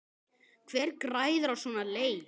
Hver græðir á svona leik?